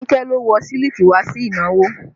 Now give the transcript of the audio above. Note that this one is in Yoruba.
Anike lo wọ sílíkì wá sí ìnáwó